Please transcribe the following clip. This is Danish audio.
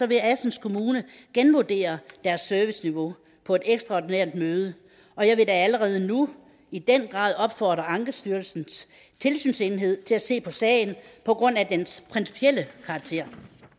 vil assens kommune genvurdere deres serviceniveau på et ekstraordinært møde og jeg vil da allerede nu i den grad opfordre ankestyrelsens tilsynsenhed til at se på sagen på grund af dens principielle karakter